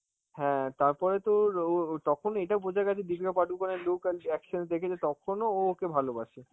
হ্যাঁ তারপরে তোর ওর ওর~ তখন এটাও বোঝা গেছে দীপিকা পাডুকোনের look আর reaction দেখে যে তখনো ও ওকে ভালোবাসে.